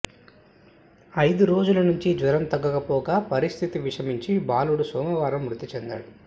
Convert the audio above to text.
ఐదు రోజుల నుంచి జ్వరం తగ్గకపోగా పరిస్థితి విషమించి బాలుడు సోమవారం మృతి చెందాడు